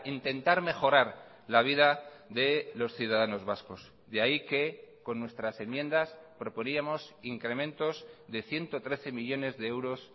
intentar mejorar la vida de los ciudadanos vascos de ahí que con nuestras enmiendas proponíamos incrementos de ciento trece millónes de euros